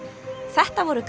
þetta voru